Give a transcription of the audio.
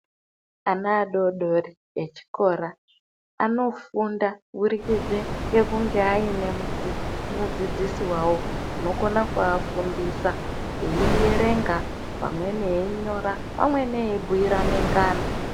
Ana adodori echikora anofunda kuburikidze ngekunge aine nemudzidzisi wawo unokona kuafundisa eierenga pamweni einyora pamweni eibhiirane ngano.